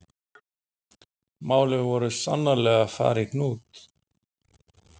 Málin voru sannarlega að fara í hnút.